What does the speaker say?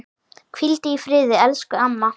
Hvíldu í friði elsku amma.